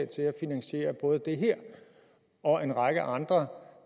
til at finansiere både det her og en række andre